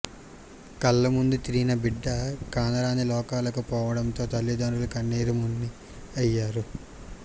కళ్ల ముందే తిరిన బిడ్డ కానరాని లోకాలకు పోవడంతో తల్లిదండ్రులు కన్నీరుమున్నీరయ్యారు